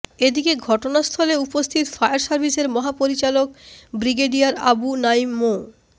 এদিকে ঘটনাস্থলে উপস্থিত ফায়ার সার্ভিসের মহাপরিচালক ব্রিগেডিয়ার আবু নাঈম মো